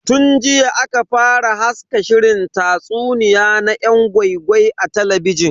Tun jiya aka fara haska shirin tatsuniya na yan gwai-gwai a talabijin.